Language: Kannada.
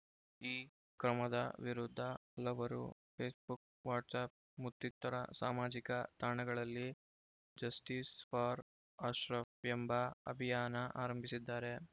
ಈ ಕ್ರಮದ ವಿರುದ್ಧ ಹಲವರು ಫೇಸ್‌ಬುಕ್‌ ವಾಟ್ಸ್ಯಾಪ್ ಮತ್ತಿತರ ಸಾಮಾಜಿಕ ತಾಣಗಳಲ್ಲಿ ಜಸ್ಟೀಸ್‌ ಫಾರ್‌ ಅಶ್ರಫ್‌ ಎಂಬ ಅಭಿಯಾನ ಆರಂಭಿಸಿದ್ದಾರೆ